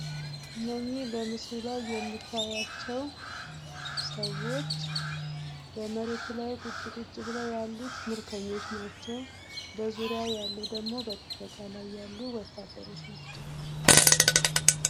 እኝህ በምስሉ ላይ የምትመለከቷቸው ሰዎች ከመሬት ላይ ቁጭ ቁጭ ያሉት ምርኮኞች ናቸው ።በዙሪያው ያሉት ደግሞ ወታደሮች ናቸው ።